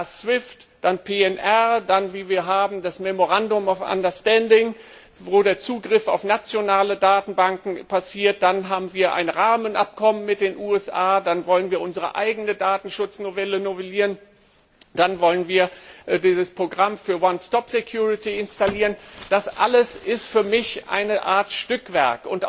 Erst SWIFT, dann Fluggastdatensätze, dann haben wir das Memorandum of Understanding wo der Zugriff auf nationale Datenbanken erfolgt, dann haben wir ein Rahmenabkommen mit den USA, dann wollen wir unsere eigene Datenschutznovelle novellieren, dann wollen wir dieses Programm für one stop security installieren das alles ist für mich eine Art Stückwerk.